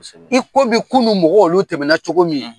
Kosɛbɛ. I komi kunun mɔgɔw olu tɛmɛna cogo min.